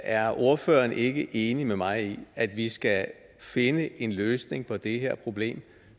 er ordføreren ikke enig med mig i at vi skal finde en løsning på det her problem